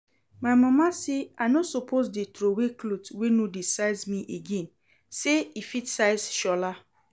My mama say I no suppose dey throway clothes wey no dey size me again, say e fit size Shola